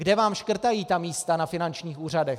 Kde vám škrtají ta místa na finančních úřadech?